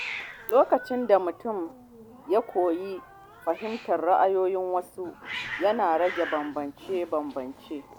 Lokacin da mutum ya koyi fahimtar ra’ayoyin wasu, yana rage bambance-bambance.